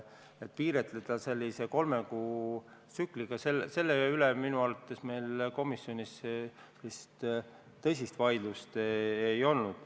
Et piiritleda seda kolme kuu tsükliga, selle üle meil minu arvates komisjonis sellist tõsist vaidlust ei olnud.